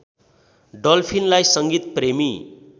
डल्फिनलाई सङ्गीत प्रेमी